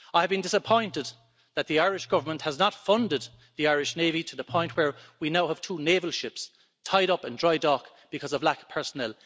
I have been disappointed that the Irish Government has not funded the Irish navy to the point where we now have two naval ships tied up in dry dock because of a lack of personnel.